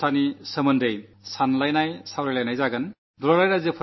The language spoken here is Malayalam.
തന്നെ ശുചിത്വം കേവലം ശുചിത്വക്കുറിച്ച് ഗഹനമായ ചർച്ചകൾ നടത്താൻ പോവുകയാണ്